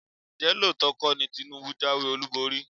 Ǹjẹ́ lóòótọ́ kọ́ ni Tinubu jáwé olúborí?